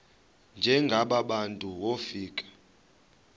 njengaba bantu wofika